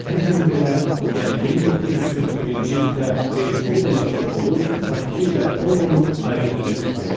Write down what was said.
Bu gün belə, yəni 1941-ci ildə beysbol ilə futbolu, xokkey ilə polonu ayırd edə bilmirəm.